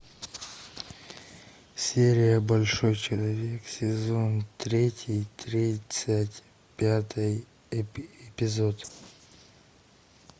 серия большой человек сезон третий тридцать пятый эпизод